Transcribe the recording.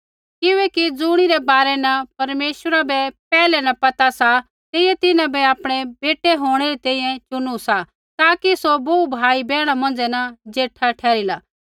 किबैकि ज़ुणिरै बारै न परमेश्वरा बै पैहला न पता सा तेइयै तिन्हां बै आपणै बेटै होंणै री तैंईंयैं चुनु सा ताकि सौ बोहू भाई बैहणा मौंझ़ै न ज़ेठा ठहरला